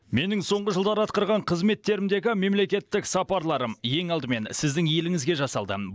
менің соңғы жылдары атқарған қызметтерімдегі мемлекеттік сапарларым ең алдымен сіздің еліңізге жасалды